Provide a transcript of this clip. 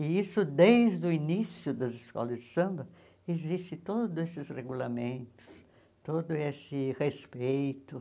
E isso desde o início das escolas de samba, existem todos esses regulamentos, todo esse respeito.